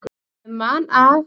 Ég man að